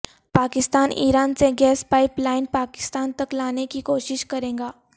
پاکستان ایران سے gas pipeline Pakistan تک لانے کی کوشش کرےگا